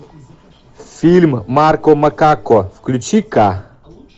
фильм марко макако включи ка